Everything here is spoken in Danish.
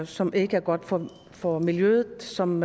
som ikke er godt for for miljøet og som